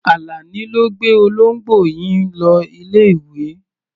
Àlàní ló gbé olóńgbò yín lọ ilé-ìwé.